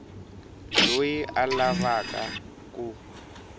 loyi a a lava ku